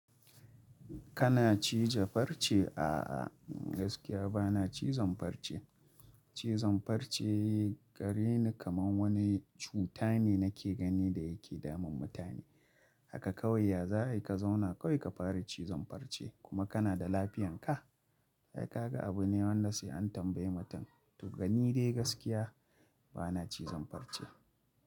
Kana cija farce? A'a gaskiya bana cizon farce. Cizon farce gare ni kaman wani cuta ne nake gani da yake damun mutane. Haka kawai ya za a yi ka zauna kawai ka fara cizon farce, kuma kana da lafiyan ka. Ai ka ga abu ne wanda sai an tambayi mutum. To gani dai gaskiya bana cizon farce.